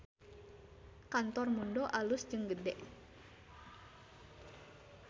Kantor Mundo alus jeung gede